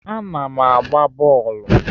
Ana m agba bọọlụ.